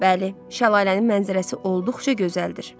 Bəli, şəlalənin mənzərəsi olduqca gözəldir.